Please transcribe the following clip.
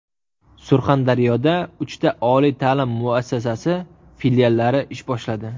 Surxondaryoda uchta oliy ta’lim muassasasi filiallari ish boshladi.